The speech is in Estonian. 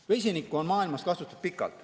Vesinikku on maailmas kasutatud kaua.